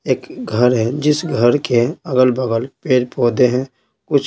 एक घर है जिस घर के अगल बगल पेड़ पौधे हैं कुछ--